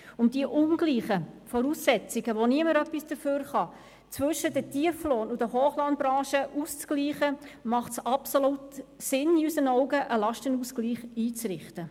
Um diese ungleichen Voraussetzungen, für welche niemand etwas kann, zwischen den Tieflohn- und den Hochlohnbranchen auszugleichen, macht es in unseren Augen absolut Sinn, einen Lastenausgleich einzurichten.